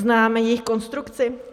Známe jejich konstrukci?